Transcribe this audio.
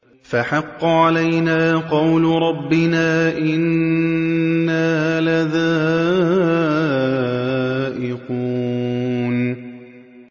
فَحَقَّ عَلَيْنَا قَوْلُ رَبِّنَا ۖ إِنَّا لَذَائِقُونَ